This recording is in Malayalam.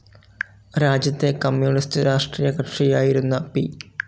രാജ്യത്തെ കമ്മ്യൂണിസ്റ്റ്‌ രാഷ്ട്രീയകക്ഷിയായിരുന്ന പി.